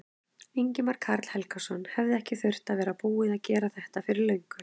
Ingimar Karl Helgason: Hefði ekki þurft að vera búið að gera þetta fyrir löngu?